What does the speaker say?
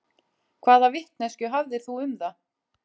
Hvaða vitneskju hafðirðu um það?